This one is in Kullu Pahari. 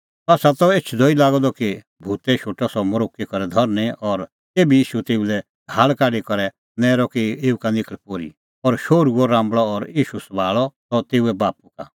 सह त एछदअ ई लागअ द कि भूतै शोटअ सह मरोक्की करै धरनीं और तेभी ईशू तेऊ लै झ़ाहल़ काढी करै नैरअ कि एऊ का निखल़ पोर्ही और शोहरू हुअ राम्बल़अ और ईशू सभाल़अ सह तेऊए बाप्पू का